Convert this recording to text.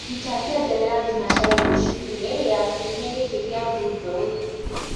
rũta ngengere ya thĩnacara rũcĩĩnĩ ya kĩumĩa giki ya thũthaũyũ